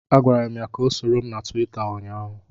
Agwara m ya ka ọ soro m na Tuweeta ụnyaahụ